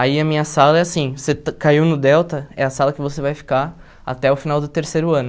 Aí a minha sala é assim, você caiu no Delta, é a sala que você vai ficar até o final do terceiro ano.